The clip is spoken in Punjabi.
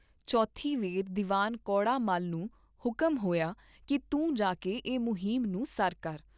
ਚੌਥੀ ਵੇਰ ਦੀਵਾਨ ਕੌੜਾ ਮੱਲ ਨੂੰ ਹੁਕਮ ਹੋਇਆ ਕੀ ਤੂੰ ਜਾਕੇ ਏ ਮੁਹਿੰਮ ਨੂੰ ਸਰ ਕਰ।